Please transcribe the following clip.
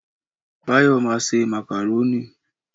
Báyọ̀ ma se Màkàrónì